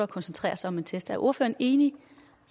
koncentrere sig om en test er ordføreren enig